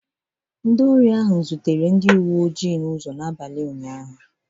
Ndi eji abalị eje ahụ zutere ndị uwe oji n'ụzọ n'abalị ụnyaahụ